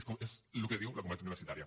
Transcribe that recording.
és el que diu la comunitat universitària